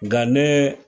Nka ne